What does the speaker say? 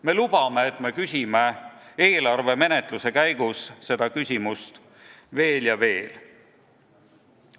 Me lubame, et me küsime eelarve menetluse käigus seda küsimust veel ja veel.